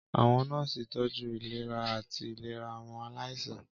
Àwọn nọ́ọ̀sì ń tọ́jú ìlera àti ìlera àwọn aláìsàn.